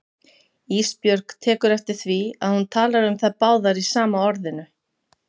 Ísbjörg tekur eftir því að hún talar um þær báðar í sama orðinu.